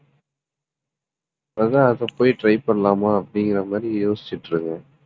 அதான் அதை போய் try பண்ணலாமா அப்படிங்கிற மாதிரி யோசிச்சுட்டுஇருக்கேன்